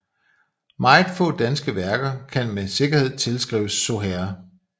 Meget få danske værker kan med sikkerhed tilskrives Soherr